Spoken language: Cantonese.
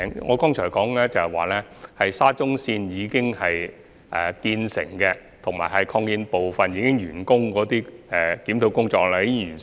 我剛才說，關於沙中綫已建成的車站及已完工的擴建部分，檢討工作已經完成。